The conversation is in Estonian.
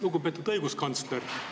Lugupeetud õiguskantsler!